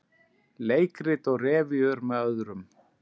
Leikrit og revíur með öðrum